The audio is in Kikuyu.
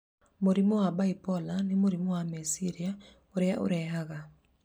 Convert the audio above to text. Mũrimũ wa bipolar nĩ mũrimũ wa meciria ũrĩa ũrehaga